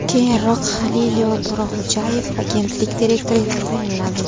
Keyinroq Halilillo To‘raxo‘jayev agentlik direktori etib tayinlandi .